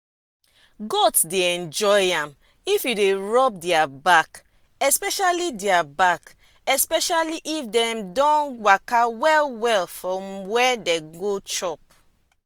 goat dey enjoy am if you dey rub their back especially their back especially if dem don waka well well for where dem go chop.